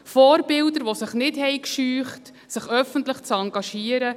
Vorbilder, die sich nicht scheuten, sich öffentlich zu engagieren;